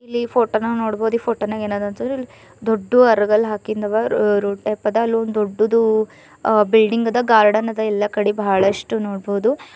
ಇಲ್ಲಿ ಫೋಟೋ ನಾವ್ ನೋಡಬಹುದು ಈ ಫೋಟೋ ನಗ ಎನ್ ಅದ ದೊಡ್ಡು ಅರಗಲ್ಲು ಆಗಿಂದ್ ಅವ ರೋಡ್ ಟೈಪ್ ಅದ ಅಲ್ಲಿ ಒಂದು ದೊಡ್ಡುದು ಅ ಬಿಲ್ಡಂಗ್ ಅದ ಗಾರ್ಡನ್ ಅದ ಎಲ್ಲಾ ಕಡೆ ಬಹಳಷ್ಟ ನೋಡ್ಬೋದು.